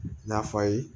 N'a fɔ a ye